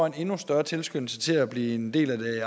en endnu støre tilskyndelse til at blive en del af det